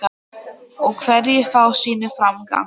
Og hverjir fá sínu framgengt?